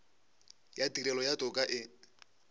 ya tirelo ya toka e